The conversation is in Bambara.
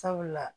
Sabula